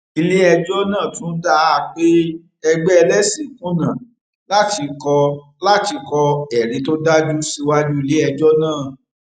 iléẹjọ náà tún dá a pé ẹgbẹ ẹlẹsìn kùnà láti kọ láti kọ ẹrí tó dájú síwájú iléẹjọ náà